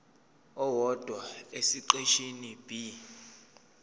owodwa esiqeshini b